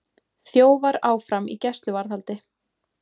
Þjófar áfram í gæsluvarðhaldi